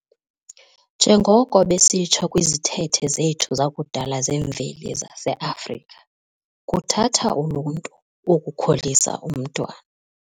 Njengoko besitsho kwizithethe zethu zakudala zemveli zase-Afrika "kuthatha uluntu ukukhulisa umntwana".